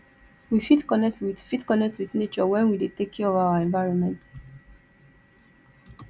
we fit connect with fit connect with nature when we de take care of our environment